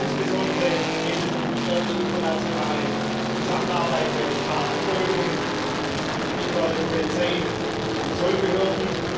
Insbesondere geht es um verstärkte internationale Zusammenarbeit bei der Strafverfolgung Stichworte Polizei und Zollbehörden.